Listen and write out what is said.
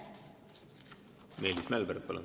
Meelis Mälberg, palun!